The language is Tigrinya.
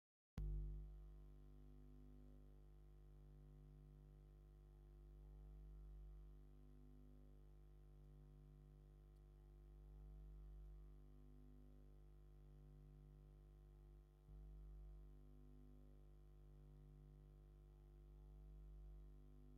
አብ ሓደ ደስ በሃሊን ገራሚን ሆቴል ዝተፈላለዩ ቅርፂታት ብቀይሕን ፃዕዳን ሕብሪ ካብ ፅንፀይቲ ዝተሰርሑ ይርከቡዎም፡፡ አብ ሓደ ናይ ምግቢ መቀረቢ ናይ ማእከል ቀይሕ ጣውላ ብጫ ሕብሪ ዘለዎም ዕምበባታትን ፃዕዳ ጨርቂን ይርከቡ፡፡